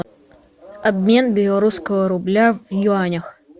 обмен белорусского рубля в юанях